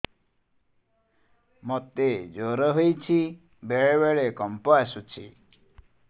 ମୋତେ ଜ୍ୱର ହେଇଚି ବେଳେ ବେଳେ କମ୍ପ ଆସୁଛି